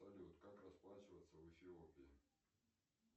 салют как расплачиваться в эфиопии